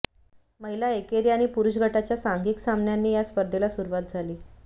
महिला एकेरी आणि पुरुष गटाच्या सांघिक सामन्यांनी या स्पर्धेला सुरुवात झाली